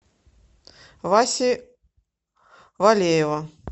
васи валеева